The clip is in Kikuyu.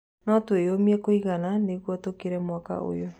No tũĩyũmie kũigana nĩguo tũkire mwaka ũyũ.